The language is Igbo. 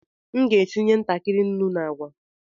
M ga-etinye ntakịrị nnu na agwa.